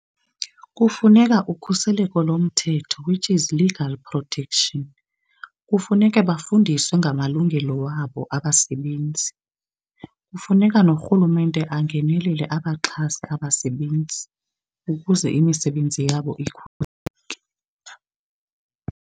Kufuneka ukhuseleko lomthetho which is legal protection. Kufuneka bafundiswe ngamalungelo wabo abasebenzi, kufuneka norhulumente angenelele abaxhasa abasebenzi ukuze imisebenzi yabo .